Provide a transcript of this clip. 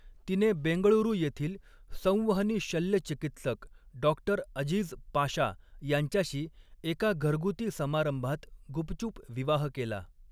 तिने बेंगळुरू येथील संवहनी शल्यचिकित्सक डॉ. अझीज पाशा यांच्याशी एका घरगुती समारंभात गुपचूप विवाह केला.